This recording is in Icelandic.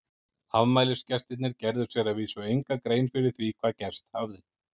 Afmælisgestirnir gerðu sér að vísu enga grein fyrir því hvað gerst hafði.